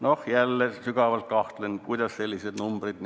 Noh, jälle sügavalt kahtlen, kuidas sellised numbrid.